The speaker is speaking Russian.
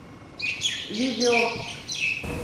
видео